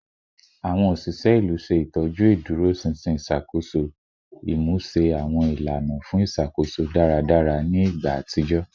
Awọn oṣiṣẹ ilu ṣe itọju iduroṣinṣin iṣakoso, imuse awọn ilana fun iṣakoso daradara ni igba atijọ